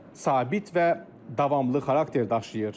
Sabit və davamlı xarakter daşıyır.